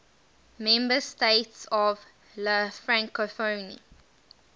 member states of la francophonie